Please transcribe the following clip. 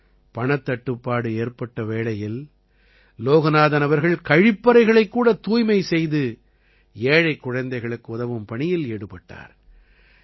பணத் தட்டுப்பாடு ஏற்பட்ட வேளையில் லோகநாதன் அவர்கள் கழிப்பறைகளைக் கூட தூய்மை செய்து ஏழைக் குழந்தைகளுக்கு உதவும் பணியில் ஈடுபட்டார்